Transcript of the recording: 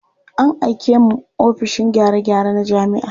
An aike mu ofishin gyare-gyare na jami'a.